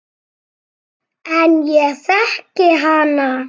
En ég þekki hana.